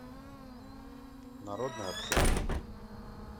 народная аптека